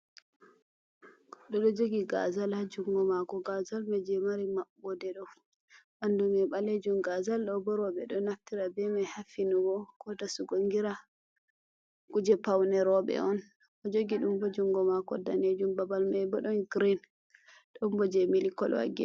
Oɗo jogi gazal ha jungo mako, gazal mai je mari maɓoode ɗo bandu mai balejuum, gazal ɗo bo rewɓe ɗo naftira be mai haffinugo, ko dasugo gira, kuje paune rewɓe on , o jogi ɗum haj jungo mako danejuum, babal mai bo ɗon girin, ɗon bo je mili kolo.